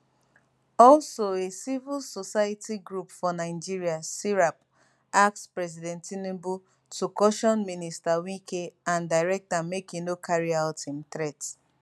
also a civil society group for nigeria serap ask president tinubu to caution minister wike and direct am make e no carry out im threat